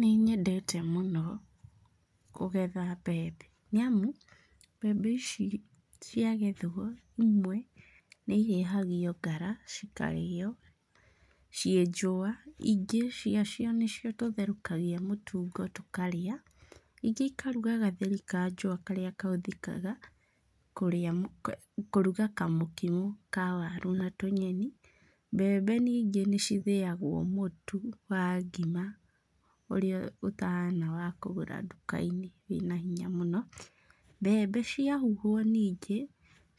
Nĩ nyendete mũno, kũgetha mbembe. Nĩamu mbembe ici ciagethwo, imwe nĩ ihĩhagio ngara, cikarĩo ciĩ njũa, ingĩ cia cio nĩcio tũtherũkagia mũtungo tũkarĩa, ingĩ ikaruga gatheri ka njũa karĩa kahũthĩkaga kũrĩa kũruga kamũkimo ka waru na tũnyeni. Mbembe ningĩ nĩ cithĩagwo mũtu wa ngima, ũrĩa ũtahana wa kũgũra nduka-inĩ wĩna hinya mũno. Mbembe ciahuhũo ningĩ,